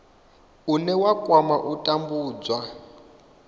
une wa kwama u tambudzwa